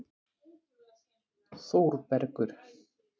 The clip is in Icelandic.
Þórbergur